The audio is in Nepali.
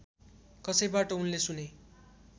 कसैबाट उनले सुने